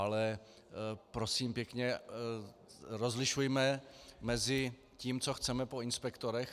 Ale prosím pěkně, rozlišujme mezi tím, co chceme po inspektorech.